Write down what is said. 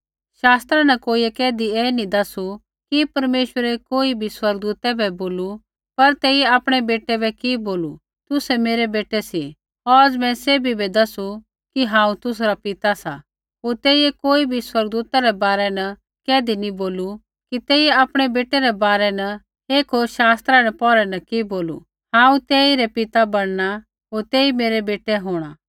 शास्त्रा न कोइयै कैधी ऐ नी दसू कि परमेश्वरै कोई बी स्वर्गदूता बै बोलू पर तेइयै आपणै बेटै बै कि बोलू तुसै मेरै बेटै सी औज़ मैं सैभी बै दसू कि हांऊँ तुसरा पिता सा होर तेइयै कोई बी स्वर्गदूता रै बारै न कैधी नैंई बोलू कि तेइयै आपणै बेटै रै बारै न एक होर शास्त्रा रै पैहरै न कि बोलू हांऊँ तेइरै पिता बणना होर तेई मेरै बेटै होंणा